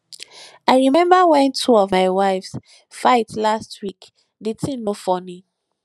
i remember wen two of my wives fight last week the thing no funny